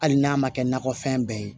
Hali n'a ma kɛ nakɔfɛn bɛɛ ye